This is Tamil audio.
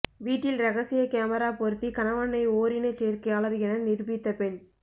வீட்டில் ரகசிய கேமரா பொருத்தி கணவனை ஓரினச்சேர்க்கையாளர் என நிரூபித்த பெண்